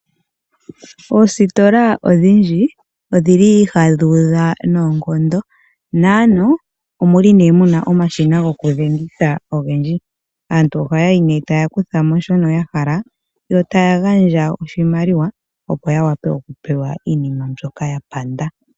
Oositola odhindji ohadhi udha noonkondo. Aantu oye na omashina gokudhengitha ogendji. Aantu ohaya yi nduno e taya kutha mo shoka ya hala yo taya gandja oshimaliwa, opo ya wape okupewa iinima mbyoka ya panda.